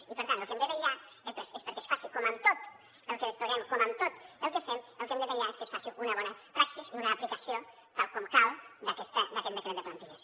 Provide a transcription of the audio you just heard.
i per tant pel que hem de vetllar és perquè es faci com amb tot el que despleguem com amb tot el que fem una bona praxi i una apli·cació tal com cal d’aquest decret de plantilles